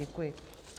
Děkuji.